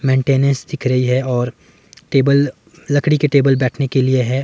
Maintenance दिख रही है और टेबल लकड़ी के टेबल बैठने के लिए है।